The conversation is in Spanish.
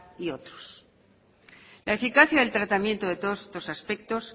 y otros la eficacia del tratamiento de todos estos aspectos